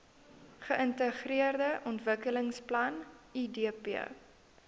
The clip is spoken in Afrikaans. geintegreerde ontwikkelingsplan idp